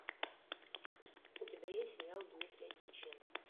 у тебя есть сериал дмитрия дьяченко